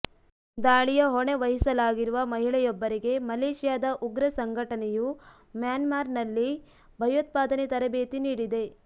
ದಾಳಿಯ ಹೊಣೆ ವಹಿಸಲಾಗಿರುವ ಮಹಿಳೆಯೊಬ್ಬರಿಗೆ ಮಲೇಷ್ಯಾದ ಉಗ್ರ ಸಂಘಟನೆಯು ಮ್ಯಾನ್ಮಾರ್ನಲ್ಲಿ ಭಯೋತ್ಪಾದನೆ ತರಬೇತಿ ನೀಡಿದೆ